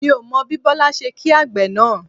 Mi ò mọ bí Bọlá ṣe kí àgbẹ̀ náà